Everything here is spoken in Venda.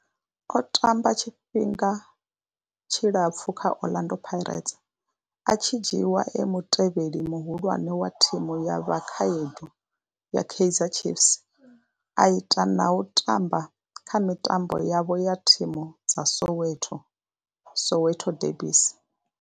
O tamba tshifhinga tshilapfhu kha Orlando Pirates, a tshi dzhiiwa e mutevheli muhulwane wa thimu ya vhakhaedu ya Kaizer Chiefs, a ita na u tamba kha mitambo yapo ya thimu dza Soweto Soweto derbies.